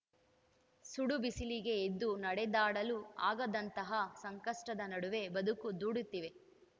ಸುಡು ಬಿಸಿಲಿಗೆ ಎದ್ದು ನಡೆದಾಡಲು ಆಗದಂತಹ ಸಂಕಷ್ಟದ ನಡುವೆ ಬದುಕು ದೂಡುತ್ತಿವೆ